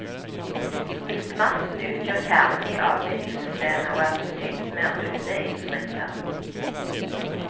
Midtmasten utgjør kjernen i avbindingssystemet og er forsynt med runeinnskrifter.